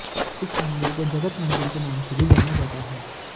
इस मंदिर को जगत मंदिर के नाम से भी जाना जाता है